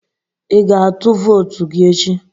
Ị ga-atụ vootu gị echi?